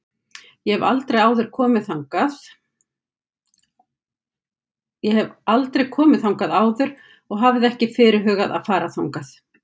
Ég hef aldrei komið þangað áður og hafði ekki fyrirhugað að fara þangað.